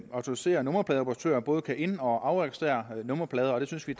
autoriserede nummerpladeoperatører både kan ind og afregistrere nummerplader og det synes vi